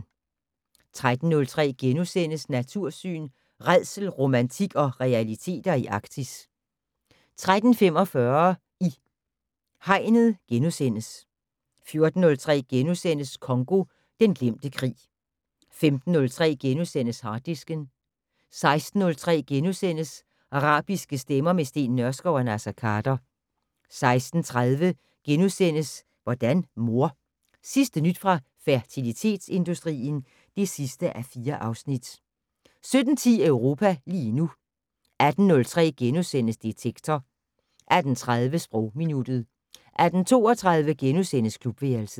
13:03: Natursyn: Rædsel, romantik og realiteter i Arktis * 13:45: I Hegnet * 14:03: Congo - den glemte krig * 15:03: Harddisken * 16:03: Arabiske stemmer - med Steen Nørskov og Naser Khader * 16:30: Hvordan mor? Sidste nyt fra fertilitetsindustrien (4:4)* 17:10: Europa lige nu 18:03: Detektor * 18:30: Sprogminuttet 18:32: Klubværelset *